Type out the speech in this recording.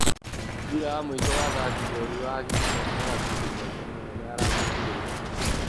mũbĩra wa mũico wa athaki njorua a agiginyani na gakundi komũ: mũnene aramũigĩrĩire maina